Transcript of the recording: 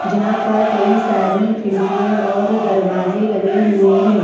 जहां पर कई सारी खिड़कियां और दरवाजे लगे हुए हैं।